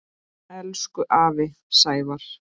Elsku afi Sævar.